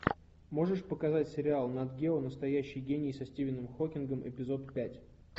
можешь показать сериал нат гео настоящий гений со стивеном хокингом эпизод пять